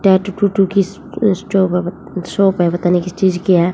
Tattoo to to shop है पता नहीं किस चीज की है।